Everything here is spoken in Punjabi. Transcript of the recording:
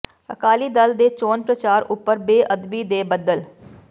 ਅਕਾਲੀ ਦਲ ਦੇ ਚੋਣ ਪ੍ਰਚਾਰ ਉੱਪਰ ਬੇਅਦਬੀ ਦੇ ਬੱਦਲ